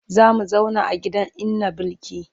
Za mu zauna a gidan inna Bilki.